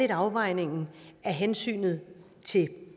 afvejningen af hensynet til